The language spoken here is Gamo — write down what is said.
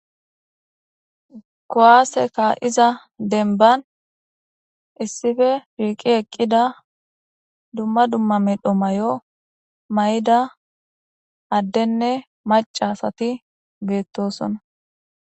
Kuwaase ka7iza dembban issippe shiiqi eqqida dumma dumma medho may7o may7ida addenne macasati beettosona.